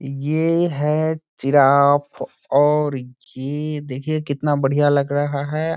ये है जिराफ और ये देखिये कितना बढ़िया लग रहा है।